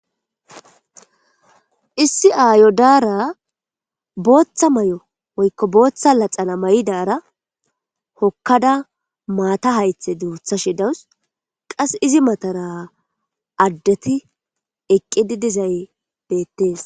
issi aayo daara booththa may7o woykko booththa laxana may7idara hokkada maata haythe duutha she dawus qas izi matara addeti eqqidi dizay beettees